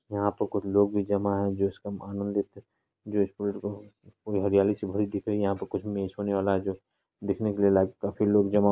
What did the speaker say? यहां पर कुछ लोग भी जमा है जो इसका समान लेते है हरियाली सी भड़ी दिख रही है यहां पर कुछ मैच होने वाला है जो देखने के लिए लाइव काफी लोग जमा।